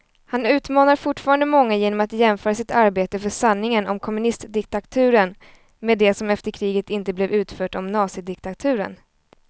Han utmanar fortfarande många genom att jämföra sitt arbete för sanningen om kommunistdiktaturen med det som efter kriget inte blev utfört om nazidiktaturen.